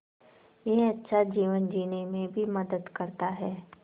यह अच्छा जीवन जीने में भी मदद करता है